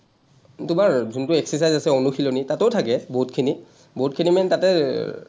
তোমাৰ যোনটো exercise আছে, অনুশীলনী, তাতো থাকে বহুতখিনি, বহুতখিনি মানে তাতে এৰ